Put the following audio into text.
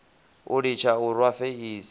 o litsha u rwa feisi